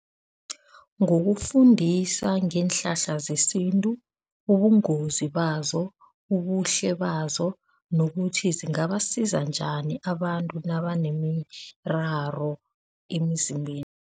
Ngokufundisa ngeenhlahla zesintu. Ubungozi bazo, ubuhle bazo nokuthi zingabasiza njani abantu nabanemiraro emizimbeni?